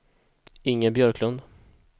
Inger Björklund